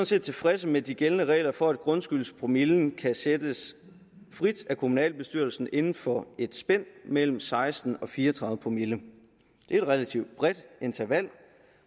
set tilfredse med de gældende regler for at grundskyldspromillen kan sættes frit af kommunalbestyrelsen inden for et spænd mellem seksten og fire og tredive promille det er et relativt bredt interval